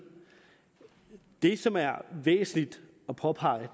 det som er væsentligt at påpege